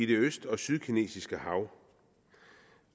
det sydkinesiske hav